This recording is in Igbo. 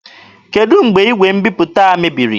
Kedụ mgbe igwe mbiputa a mebiri?